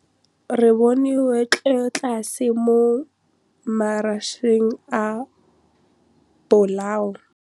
Re bone wêlôtlasê mo mataraseng a bolaô.